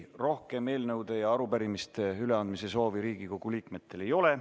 Rohkem eelnõude ja arupärimiste üleandmise soovi Riigikogu liikmetel ei ole.